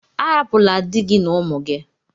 Arapula dị gị na ụmụ gị!